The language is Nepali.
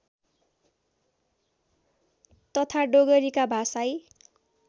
तथा डोगरीका भाषाई